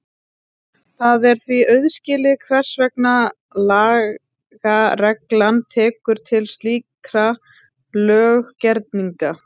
Það er því auðskilið hvers vegna lagareglan tekur til slíkra löggerninga.